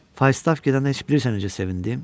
Fatav gedəndə heç bilirsən necə sevindim?